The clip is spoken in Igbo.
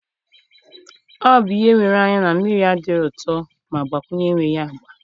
O bụ ihe wéré anya na mmiri adịghị ụtọ ma gbakwunye enweghị agba.